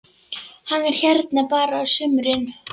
Hann er hérna bara á sumrin.